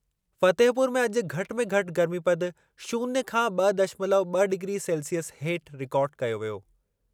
फतेहपुर में अॼु घटि में घटि गर्मीपदु शून्य खां ॿ दशमलव ॿ डिग्री सेल्सिअस हेठि रिकार्ड कयो वियो।